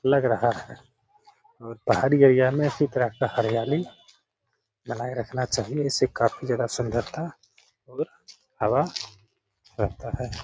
लग रहा है और पहाड़ी एरिया में इसी तरह की हरयाली लगाये रखना चाहिए इससे काफी ज्यादा सुन्दरता और हवा रहता है।